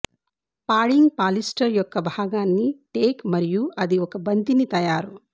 padding polyester యొక్క భాగాన్ని take మరియు అది ఒక బంతిని తయారు